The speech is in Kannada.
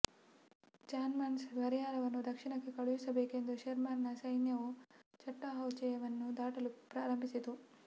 ಜಾನ್ಸ್ಟನ್ನ ಪರಿಹಾರವನ್ನು ದಕ್ಷಿಣಕ್ಕೆ ಕಳುಹಿಸಬೇಕೆಂದು ಶೆರ್ಮನ್ನ ಸೈನ್ಯವು ಚಟ್ಟಾಹೌಚೆವನ್ನು ದಾಟಲು ಪ್ರಾರಂಭಿಸಿತು